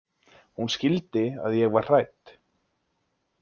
Hún skildi að ég var hrædd.